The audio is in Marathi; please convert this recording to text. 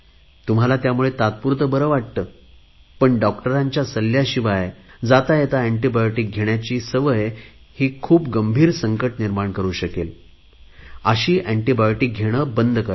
तुम्हाला त्यामुळे तात्पुरते बरे वाटेल परंतु डॉक्टरांच्या सल्ल्याशिवाय येताजाता एन्टीबायोटिक घेण्याची सवय खूप गंभीर संकट निर्माण करु शकेल अशी एन्टीबायोटिक घेणे बंद करा